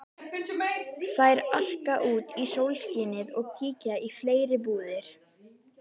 Þær arka út í sólskinið og kíkja í fleiri búðir.